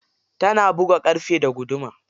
Tana buga ƙarfe da guduma.